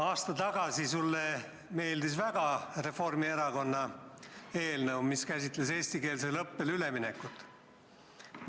Aasta tagasi sulle meeldis väga Reformierakonna eelnõu, mis käsitles eestikeelsele õppele üleminekut.